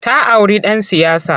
Ta auri ɗan siyasa.